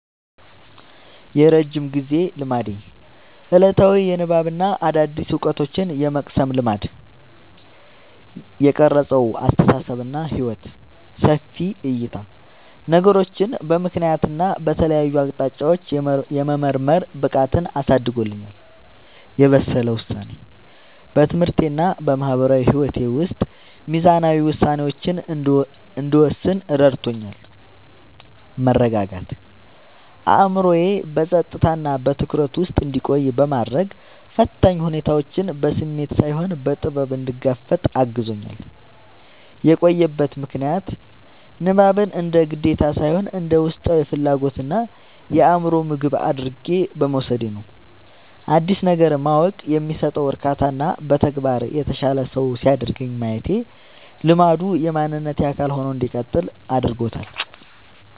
የረጅም ጊዜ ልማዴ፦ ዕለታዊ የንባብና አዳዲስ ዕውቀቶችን የመቅሰም ልማድ። የቀረጸው አስተሳሰብና ሕይወት፦ ሰፊ ዕይታ፦ ነገሮችን በምክንያትና በተለያዩ አቅጣጫዎች የመመርመር ብቃትን አሳድጎልኛል። የበሰለ ውሳኔ፦ በትምህርቴና በማህበራዊ ሕይወቴ ውስጥ ሚዛናዊ ውሳኔዎችን እንድወስን ረድቶኛል። መረጋጋት፦ አእምሮዬ በጸጥታና በትኩረት ውስጥ እንዲቆይ በማድረግ፣ ፈታኝ ሁኔታዎችን በስሜት ሳይሆን በጥበብ እንድጋፈጥ አግዞኛል። የቆየበት ምክንያት፦ ንባብን እንደ ግዴታ ሳይሆን እንደ ውስጣዊ ፍላጎትና የአእምሮ ምግብ አድርጌ በመውሰዴ ነው። አዲስ ነገር ማወቅ የሚሰጠው እርካታና በተግባር የተሻለ ሰው ሲያደርገኝ ማየቴ ልማዱ የማንነቴ አካል ሆኖ እንዲቀጥል አድርጎታል።